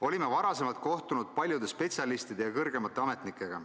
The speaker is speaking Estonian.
Olime varem kohtunud paljude spetsialistide ja kõrgemate ametnikega.